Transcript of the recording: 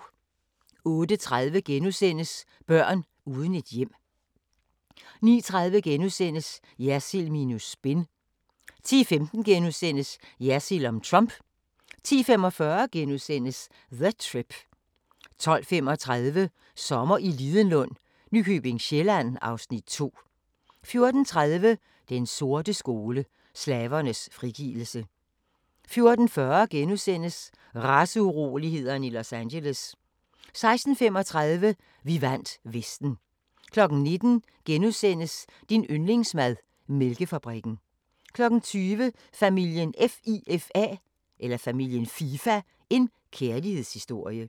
08:30: Børn uden et hjem * 09:30: Jersild minus spin * 10:15: Jersild om Trump * 10:45: The Trip * 12:35: Sommer i Lidenlund: Nykøbing Sjælland (Afs. 2) 14:30: Den sorte skole: Slavernes frigivelse 14:40: Raceurolighederne i Los Angeles * 16:35: Vi vandt Vesten 19:00: Din yndlingsmad: Mælkefabrikken * 20:00: Familien FIFA – en kærlighedshistorie